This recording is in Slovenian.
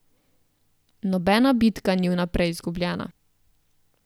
Nobena bitka ni vnaprej izgubljena!